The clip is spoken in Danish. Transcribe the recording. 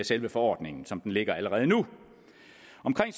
selve forordningen som den ligger allerede nu